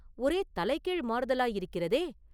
ஒரே தலை கீழ் மாறுதலாயிருக்கிறதே!